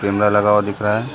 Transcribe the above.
Camera लगा हुआ दिख रहा हैं ।